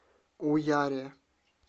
уяре